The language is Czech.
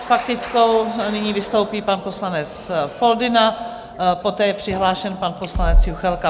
S faktickou nyní vystoupí pan poslanec Foldyna, poté je přihlášen pan poslanec Juchelka.